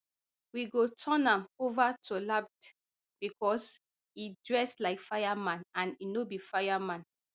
we go turn am ova to lapd becos e dress like fireman and e no be fire man